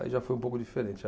Aí já foi um pouco diferente.